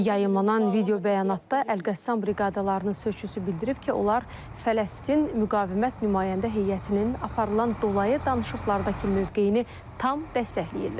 Yayımlanan video bəyanatda Əlqəssam briqadalarının sözçüsü bildirib ki, onlar Fələstin müqavimət nümayəndə heyətinin aparılan dolayı danışıqlardakı mövqeyini tam dəstəkləyirlər.